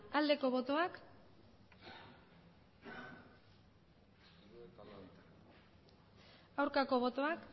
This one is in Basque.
aldeko botoak aurkako botoak